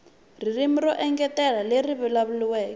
ririmi ro engetela leri vulavuriwaka